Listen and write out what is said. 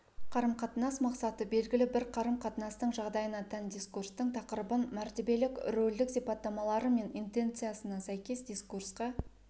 қарым-қатынас мақсаты белгілі бір қарым-қатынастың жағдайына тән дискурстың тақырыбын мәртебелік-рөлдік сипаттамалары мен интенциясына сәйкес дискурсқа